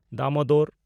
Damodar